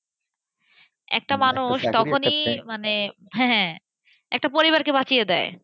একটা মানুষ তখনই মানে হ্যাঁ হ্যাঁ একটা পরিবারকে বাঁচিয়ে দেয়।